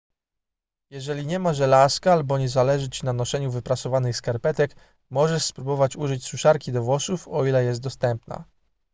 jeżeli nie ma żelazka albo nie zależy ci na noszeniu wyprasowanych skarpetek możesz spróbować użyć suszarki do włosów o ile jest dostępna